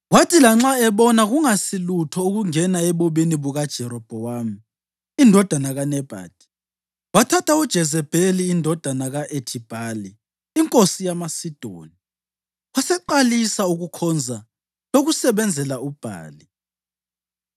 Kwathi lanxa ebona kungasilutho ukungena ebubini bukaJerobhowamu indodana kaNebhathi, wathatha uJezebheli indodakazi ka-Ethibhali inkosi yamaSidoni, waseqalisa ukukhonza lokusebenzela uBhali.